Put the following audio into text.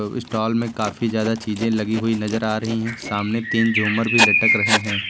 Stall में काफी ज्यादा चीजें लगी हुई नजर आ रही हैं सामने तीन झूमर भी लटक रहे हैं।